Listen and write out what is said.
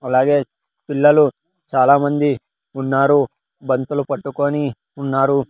అలాగే పిల్లలు చాలామంది ఉన్నారు బంతులు పట్టుకొని ఉన్నారు.